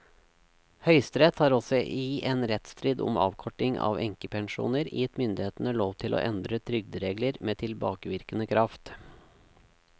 Høyesterett har også i en rettsstrid om avkorting av enkepensjoner gitt myndighetene lov til å endre trygderegler med tilbakevirkende kraft.